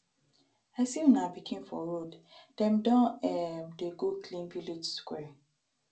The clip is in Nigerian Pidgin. i see una pikin for road dem don um dey go clean village square